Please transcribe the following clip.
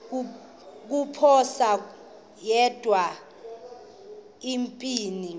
kuziphosa yedwa empini